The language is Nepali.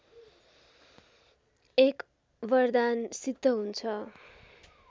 एक वरदान सिद्ध हुन्छ